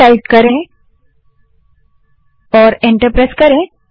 व्हो type करें और enter press करें